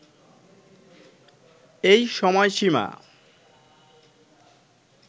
এই সময়সীমা